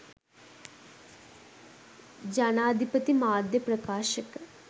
ජනාධිපති මාධ්‍ය ප්‍රකාශක